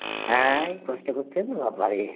হ্যাঁ এই কষ্ট করছে, বাবা রে